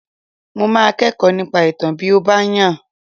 Mo máa kẹ́kọ̀ọ́ nípa ìtàn bí ó bá yàn